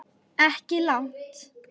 Ekki langt.